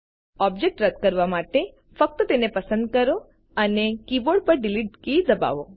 object રદ કરવા માટે ફક્ત તેને પસંદ કરો અને કીબોર્ડ પર ડીલીટ કી દબાવો